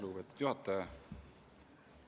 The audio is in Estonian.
Lugupeetud juhataja!